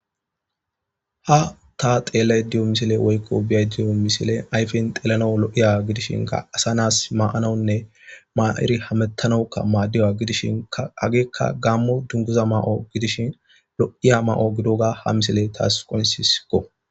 ha ta xeellay diyo misile woykko biyay diyo misile ayfen xeelano lo7iya gidishinka asa naas ma7anawunne maa7iri hamettanowukka maaddiya gidishinkaageekka gammo dunguza ma7o gidishin lo7iya ma7o gidoga ha misile taas qoyinsisiko